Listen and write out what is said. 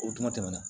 O kuma tɛmɛna